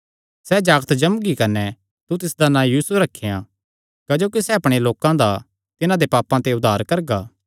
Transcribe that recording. सैह़ जागत जम्मगी कने तू तिसदा नां यीशु रखेयां क्जोकि सैह़ अपणे लोकां दा तिन्हां दे पापां ते उद्धार करगा